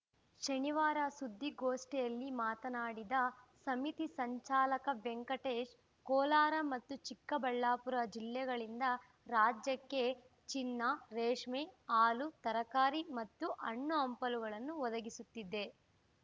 ಶನಿವಾರ ಸುದ್ದಿಗೋಷ್ಠಿಯಲ್ಲಿ ಮಾತನಾಡಿದ ಸಮಿತಿ ಸಂಚಾಲಕ ವೆಂಕಟೇಶ್‌ ಕೋಲಾರ ಮತ್ತು ಚಿಕ್ಕಬಳ್ಳಾಪುರ ಜಿಲ್ಲೆಗಳಿಂದ ರಾಜ್ಯಕ್ಕೆ ಚಿನ್ನ ರೇಷ್ಮೆ ಹಾಲು ತರಕಾರಿ ಮತ್ತು ಹಣ್ಣು ಹಂಪಲುಗಳನ್ನು ಒದಗಿಸುತ್ತಿದೆ